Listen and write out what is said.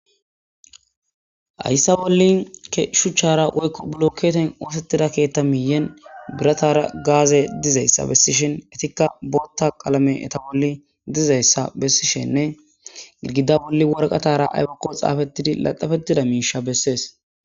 Hassa bolla shuchchara woyko buloketera osetida keththa miyen birataara gazey dizaysa besishin ettika boththa qalamey etta boli dizaysa besishenne gidigida bolla waraqatara aybbakoy xafetidi laxafetidayssa beses.